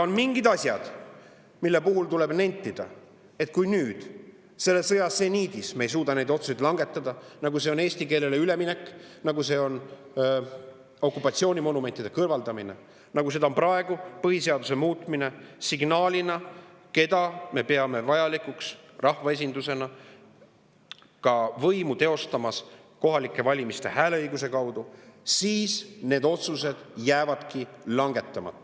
On mingid asjad, mille puhul tuleb nentida, et kui nüüd, sõja seniidis, me ei suuda langetada niisuguseid otsuseid, nagu on olnud eesti keelele üleminek, nagu on olnud okupatsioonimonumentide kõrvaldamine, nagu on praegu põhiseaduse muutmine, signaalina, keda me rahvaesindusena peame võimu teostajateks hääleõiguse kaudu kohalikel valimistel, siis need otsused jäävadki langetamata.